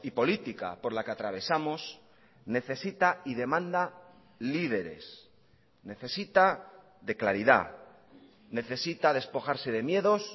política por la que atravesamos necesita y demanda líderes necesita de claridad necesita despojarse de miedos